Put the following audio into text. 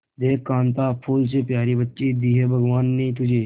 देख कांता फूल से प्यारी बच्ची दी है भगवान ने तुझे